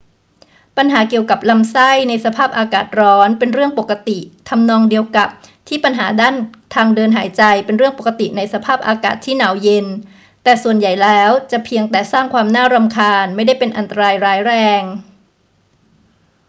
ปัญหาเกี่ยวกับลำไส้ในสภาพอากาศร้อนเป็นเรื่องปกติทำนองเดียวกับที่ปัญหาด้านทางเดินหายใจเป็นเรื่องปกติในสภาพอากาศที่หนาวเย็น แต่ส่วนใหญ่แล้วจะเพียงแต่สร้างความรำคาญ ไม่ได้เป็นอันตรายร้ายแรง